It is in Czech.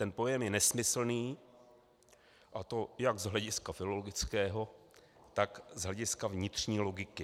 Ten pojem je nesmyslný, a to jak z hlediska filologického, tak z hlediska vnitřní logiky.